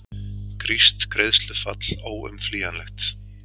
Grískt greiðslufall óumflýjanlegt